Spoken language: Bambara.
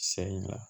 Sayi ɲa